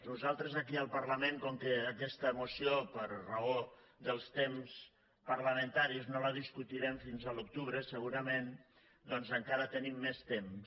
nosaltres aquí al parlament com que aquesta moció per raó dels temps parlamentaris no la discutirem fins a l’octubre segurament doncs encara tenim més temps